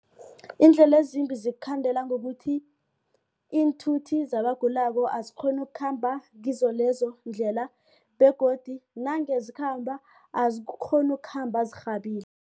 Iindlela ezimbi zikukhandela ngokuthi iinthuthi zabagulako azikghoni ukukhamba kizo lezo ndlela begodu nange zikhamba azikghoni ukukhamba